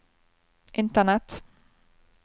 internett